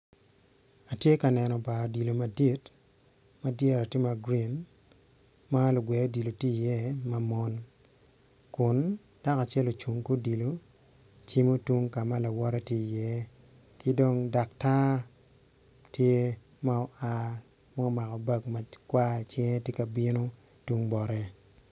Atye ka neno bar gweyo odilo madit ma dyere tye ma gurin ma lugwe odilo tye i iye ma mon kun dako acel ocung ki odilo cimo tung kama lawote tye i iye ki dong daktar tye ma oa ma omako bag makwar icinge tye ka bino tung bote.